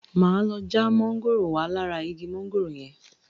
Máa lọ já mángòrò wá lára igi mángòrò yẹn.